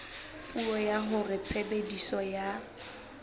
puo ya hore tshebediso ya